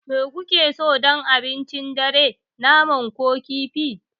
Me kuke so don abincin dare, naman sa ko kifi?